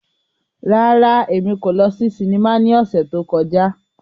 Rárá, Emi ko lọ si sinima ni ọsẹ to kọja.